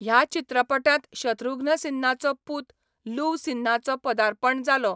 ह्या चित्रपटांत शत्रुघ्न सिन्हाचो पूत लुव सिन्हाचो पदार्पण जालो.